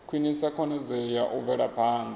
khwinisa khonadzeo ya u bvelaphanda